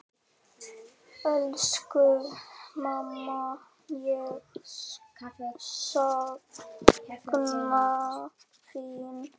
Elsku mamma, ég sakna þín.